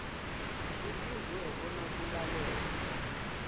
kufuze bona kulalelwe